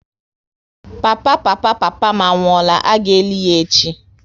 Papa papa papa m anwụọla, a ga eli ya echi